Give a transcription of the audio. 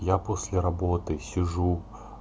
я после работы сижу